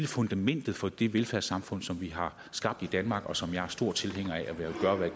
fundamentet for det velfærdssamfund som vi har skabt i danmark og som jeg er stor tilhænger af